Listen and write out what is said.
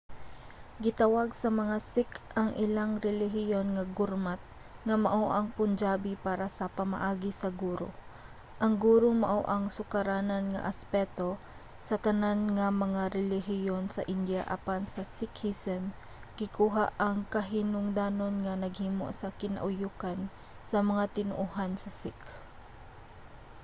gitawag sa mga sikh ang ilang relihiyon nga gurmat nga mao ang punjabi para sa pamaagi sa guru". ang guru mao ang sukaranan nga aspeto sa tanan nga mga relihiyon sa india apan sa sikhism gikuha ang kahinungdanon nga naghimo sa kinauyokan sa mga tinoohan sa sikh